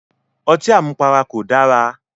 Ọtí àmupara kò dára